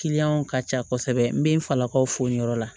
Kiliyanw ka ca kosɛbɛ n bɛ n falakaw fo yɔrɔ la